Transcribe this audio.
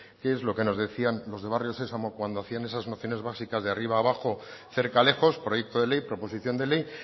qué es lo que nos decían los de barrio sesamo cuando hacían esas nociones básicas de arriba abajo cerca lejos proyecto de ley proposición de ley